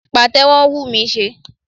Pàtẹ́wọ́ ń wù mí ṣe